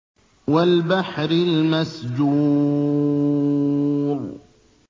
وَالْبَحْرِ الْمَسْجُورِ